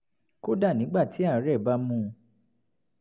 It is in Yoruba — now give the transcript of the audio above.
kódà nígbà tí àárẹ̀ bá mú un